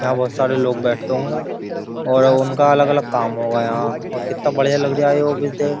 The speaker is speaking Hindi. यहाँ बहुत सारे लोग बैठे होंगे और उनका अलग-अलग काम होगा यहाँ और कितना बढ़िया लग रही देख --